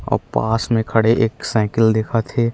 अउ पास में खड़े एक साइकिल दिखत हे।